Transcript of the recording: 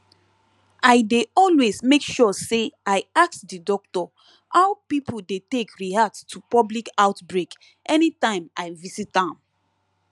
i dey always make sure say i ask the doctor how people dey take react to public outbreak anytime i visit am